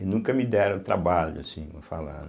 E nunca me deram trabalho, assim, vou falar, né.